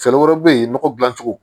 Fɛɛrɛ wɛrɛ bɛ ye nɔgɔ dilan cogo